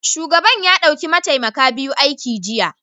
Shugaban ya dauki mataimaka biyu aiki jiya